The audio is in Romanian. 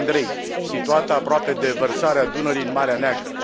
Andrei, situată aproape de vărsarea Dunării în Marea Neagră.